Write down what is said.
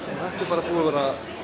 þetta er bara búið að vera